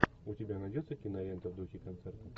у тебя найдется кинолента в духе концерта